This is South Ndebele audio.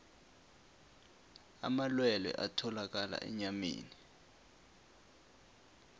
amalwelwe atholakala enyameni